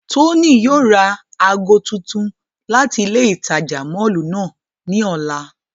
Tony yóò ra aago tuntun lati ile itaja mọllu náa ni ọla.